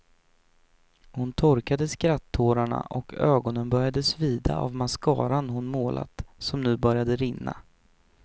Hon torkade skrattårarna och ögonen började svida av mascaran hon målat som nu började rinna.